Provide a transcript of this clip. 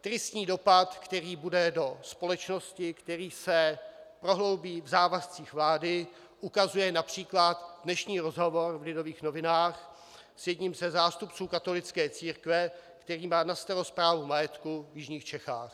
Tristní dopad, který bude do společnosti, který se prohloubí v závazcích vlády, ukazuje například dnešní rozhovor v Lidových novinách s jedním ze zástupců katolické církve, který má na starost správu majetku v jižních Čechách.